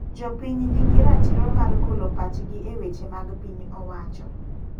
Jopiny ni gi ratiro mar golo pachgi e weche mag piny owacho.